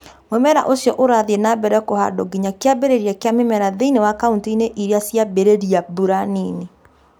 Mu͂mera u͂cio u͂rathii͂ na mbere ku͂handwo nginya ki͂ambi͂ri͂ria ki͂a mi͂mera thi͂ini͂ wa kaunti-ini͂ i͂ria ci͂ambi͂ri͂ria mbura nini.